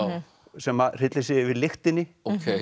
sem hryllir sig yfir lyktinni